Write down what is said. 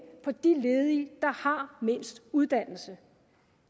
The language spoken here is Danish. på de ledige der har mindst uddannelse